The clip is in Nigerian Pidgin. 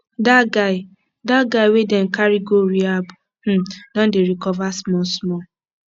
dat guy dat guy wey dem carry go rehab um don dey recover smallsmall